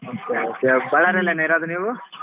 Okay okay ಇರೋದಾ ನೀವು?